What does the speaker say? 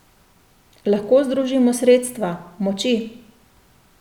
Lahko združimo sredstva, moči.